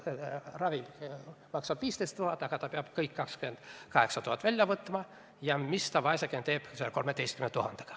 Tema ravi maksab 15 000 eurot, aga ta peab kõik 28 000 välja võtma ja mis ta vaeseke siis selle 13 000 euroga teeb?